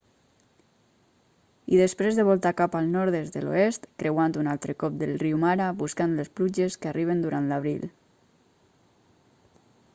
i després de volta cap al nord des de l'oest creuant un altre cop el riu mara buscant les pluges que arriben durant l'abril